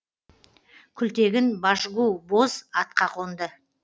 күлтегін башгу боз атқа қонды